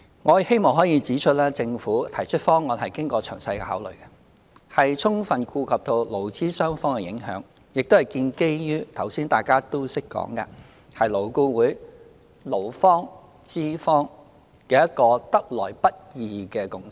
我希望可以指出，政府提出的方案經過了詳細的考慮，充分顧及對勞資雙方的影響，亦建基於——剛才大家也談到的——勞顧會勞資雙方一個得來不易的共識。